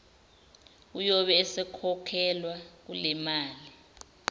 uyobe esekhokhelwa kulemali